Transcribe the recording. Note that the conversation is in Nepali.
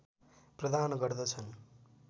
प्रदान गर्दछन्